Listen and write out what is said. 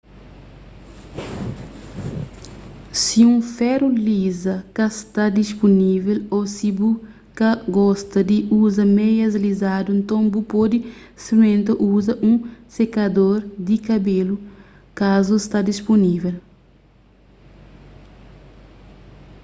si un feru liza ka sta dispunível ô si bu ka gosta di uza meias lizadu nton bu pode sprimenta uza un sekador di kabelu kazu sta dispunível